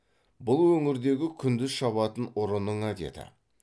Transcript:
бұл өңірдегі күндіз шабатын ұрының әдеті